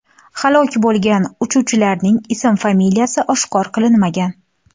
Halok bo‘lgan uchuvchilarning ism-familiyasi oshkor qilinmagan.